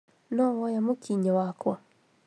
No woya mũkinyĩ wakwa